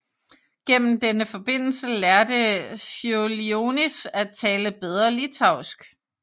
Gennem denne forbindelse lærte Čiurlionis at tale bedre litauisk